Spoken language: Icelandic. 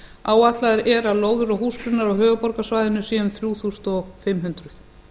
áætlað er að lóðir og húsgrunnar á höfuðborgarsvæðinu séu um þrjú þúsund fimm hundruð